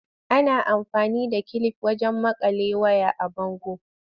Ana amfani da kilif wajen maƙale ways a bango.